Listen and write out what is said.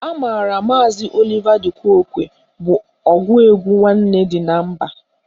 A maara maazi Oliva di Kookwe bụ ọgụ egwu Nwanne dị na mba.